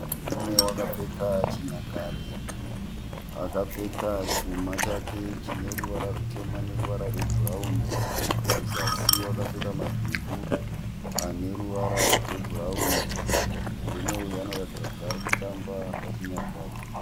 Murume wakapfeka chinyakare. Akapfeka chuma chake chine ruvara rutema neruvara rwebhurauni. Kuzasi wakapfeka madhumbu ane ruvara rwebhurauni. Murume uyu anoratidza kuti ari kuti ari kutamba pachinyakare.